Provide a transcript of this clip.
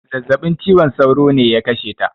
Zazzabin ciwon sauro ne ya kashe ta